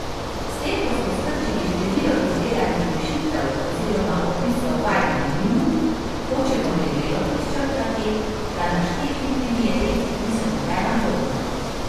S tem, ko smo skrčili število izdelanih rešitev oziroma opisov vaj na minimum, hočemo debelo podčrtati, da našteti primeri niso nobena dogma.